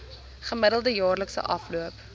gemiddelde jaarlikse afloop